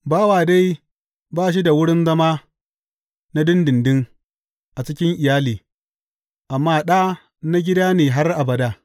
Bawa dai ba shi da wurin zama na ɗinɗinɗin a cikin iyali, amma ɗa na gida ne har abada.